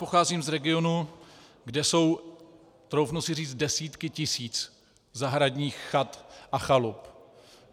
Pocházím z regionu, kde jsou, troufnu si říct, desítky tisíc zahradních chat a chalup.